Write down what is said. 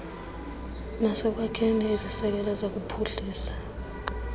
nasekwakheni iziseko zokuphuhlisa